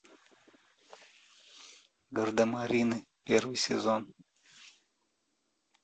гардемарины первый сезон